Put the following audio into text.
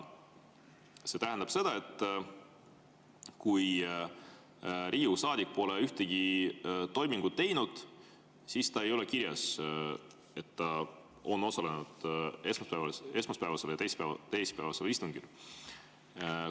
See tähendab seda, et kui Riigikogu saadik pole ühtegi toimingut teinud, siis ei ole kirjas, et ta on osalenud esmaspäevasel ja teisipäevasel istungil.